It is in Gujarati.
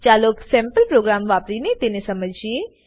ચાલો સેમ્પલ પ્રોગ્રામ વાપરીને તેને સમજીએ